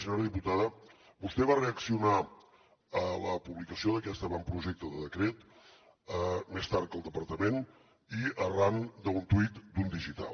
senyora diputada vostè va reaccionar a la publicació d’aquest avantprojecte de decret més tard que el departament i arran d’un tuit d’un digital